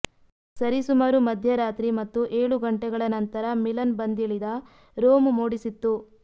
ಸರಿಸುಮಾರು ಮಧ್ಯರಾತ್ರಿ ಮತ್ತು ಏಳು ಗಂಟೆಗಳ ನಂತರ ಮಿಲನ್ ಬಂದಿಳಿದ ರೋಮ್ ಮೂಡಿಸಿತ್ತು